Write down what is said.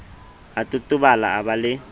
a totobala o ba le